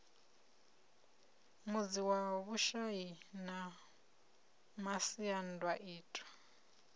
mudzi wa vhushai na masiandaitwa